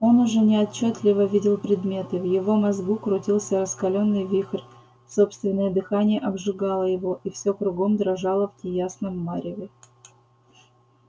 он уже неотчётливо видел предметы в его мозгу крутился раскалённый вихрь собственное дыхание обжигало его и все кругом дрожало в неясном мареве